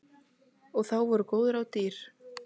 Og þá voru góð ráð dýr.